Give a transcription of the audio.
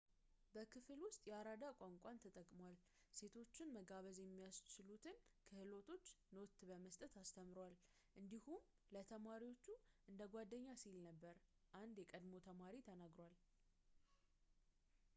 በክፍል ውስጥ የአራዳ ቋንቋን ተጠቅሟል ሴቶችን መጋበዝ የሚያስችሉትን ክህሎቶች ኖት በመስጠት አስተምሯል እንዲሁም ለተማሪዎቹ እንደ ጓደኛ ነበር ሲል አንድ የቀድሞ ተማሪ ተናግሯል